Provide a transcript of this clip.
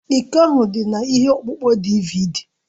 Iko ahụ dị na ihe ọkpụkpọ DịVịDí